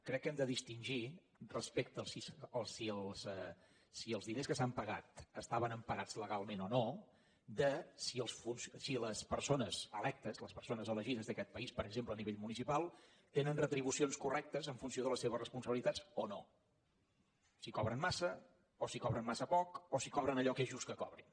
crec que hem de distingir respecte a si els diners que s’han pagat estaven emparats legalment o no de si les persones electes les persones elegides d’aquest país per exemple a nivell municipal tenen retribucions correctes en funció de les seves responsabilitats o no si cobren massa o si cobren massa poc o si cobren allò que és just que cobrin